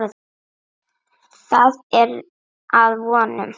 Það er að vonum.